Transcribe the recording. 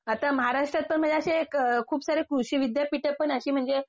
आता महाराष्ट्रात तर खूपसारे कृषी विद्यापीठं पण अशी म्हणजे